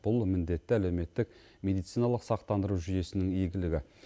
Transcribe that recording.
бұл міндетті әлеуметтік медициналық сақтандыру жүйесінің игілігі